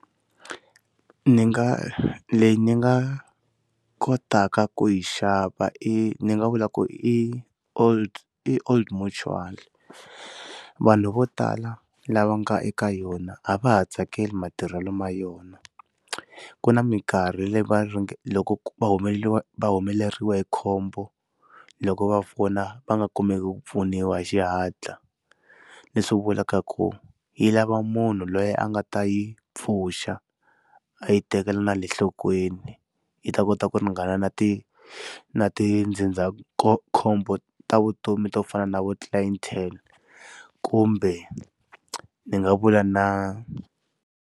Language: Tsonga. Ndzi nga leyi ndzi nga kotaka ku yi xava i ni nga vulaku i old i Old Mutual. Vanhu vo tala lava nga eka yona a va ha tsakeli matirhelo ma yona ku na mikarhi leyi ringe loko va humeriwe humeleriwe hi khombo loko va fona va nga kumeka ku pfuniwa hi xihatla leswi vulaka ku yi lava munhu loyi a nga ta yi pfuxa a yi tekela na le nhlokweni yi ta kota ku ringana na ti na ti ndzindzakhombo ta vutomi to fana na vo clientele kumbe ndzi nga vula na.